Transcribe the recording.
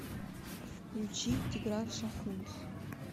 включи тигран шахунц